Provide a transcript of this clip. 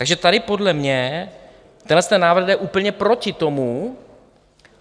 Takže tady podle mě tenhle návrh jde úplně proti tomu.